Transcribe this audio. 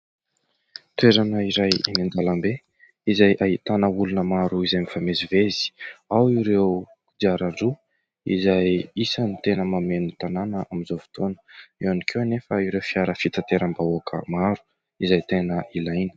Toerana iray eny an-dalambe izay ahitana olona maro izay mifamezivezy. Ao ireo kodiaran-droa izay isan'ny tena mameno tanàna amin'izao fotoana. Eo ihany koa anefa ireo fiara fitanterambahoaka maro izay tena ilaina.